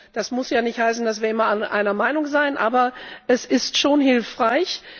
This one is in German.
Das muss ja nicht heißen, dass wir immer einer Meinung sind, aber es ist schon hilfreich.